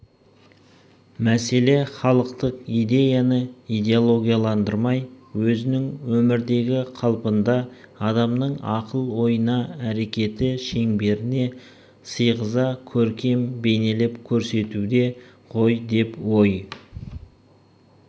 мәселе халықтық идеяны идеологияландырмай өзінің өмірдегі қалпында адамның ақыл-ойына әрекеті шеңберіне сыйғыза көркем бейнелеп көрсетуде ғой деп ой